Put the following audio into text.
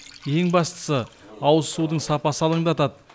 ең бастысы ауызсудың сапасы алаңдатады